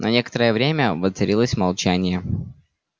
на некоторое время воцарилось молчание